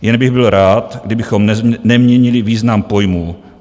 Jen bych byl rád, kdybychom neměnili význam pojmů.